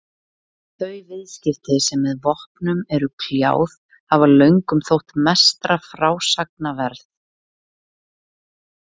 Þau viðskipti sem með vopnum eru kljáð hafa löngum þótt mestra frásagna verð.